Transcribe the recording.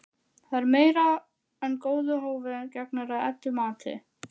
Það er meira en góðu hófi gegnir að Eddu mati.